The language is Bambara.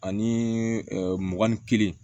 Ani mugan ni kelen